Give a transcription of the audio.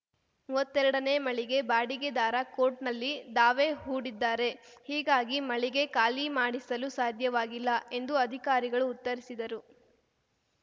ಮೂವತ್ತೆರಡನೇ ಮಳಿಗೆ ಬಾಡಿಗೆದಾರ ಕೋರ್ಟ್‌ನಲ್ಲಿ ದಾವೆ ಹೂಡಿದ್ದಾರೆ ಹೀಗಾಗಿ ಮಳಿಗೆ ಖಾಲಿ ಮಾಡಿಸಲು ಸಾಧ್ಯವಾಗಿಲ್ಲ ಎಂದು ಅಧಿಕಾರಿಗಳು ಉತ್ತರಿಸಿದರು